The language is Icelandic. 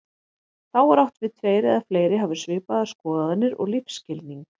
Þá er átt við tveir eða fleiri hafi svipaðar skoðanir og lífsskilning.